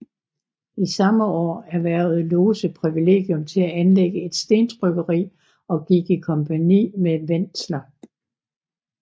I samme år erhvervede Lose privilegium til at anlægge et stentrykkeri og gik i kompagni med Wentzler